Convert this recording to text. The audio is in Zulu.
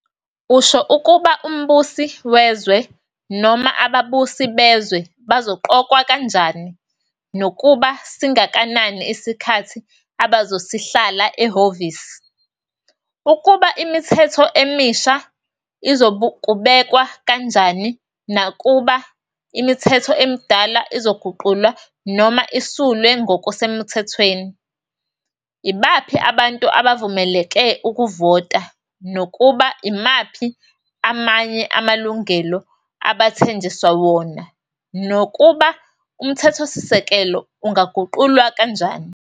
Usho ukuba umbusi wezwe noma ababusi bezwe bazoqokwa kanjani nokuba singakanani isikhathi abazosihlala ehhovisi, ukuba imithetho emisha izokubekwa kanjani nokuba imithetho emidala izoguqulwa noma isulwe ngokusemuthethweni, ibaphi abantu abavumeleke ukuvota nokuba imaphi amanye amalungelo abathenjiswa wona, nokuba umthethosisekelo ungaguqulwa kanjani.